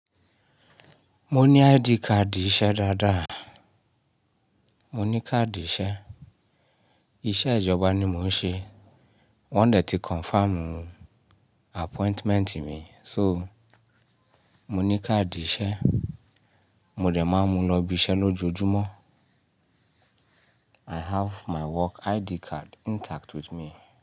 Mo ní ID card iṣẹ́ dáadáa. Mo ní káàdì iṣẹ́, iṣẹ́ ìjọba ni mò ń ṣe. Wọ́n dà tí confirm appointment mi. So mo ní káàdì iṣẹ́. Mo dẹ̀ máa ń mu lọ ibi iṣẹ́ lójoojúmọ́. I have my work ID card intact with me.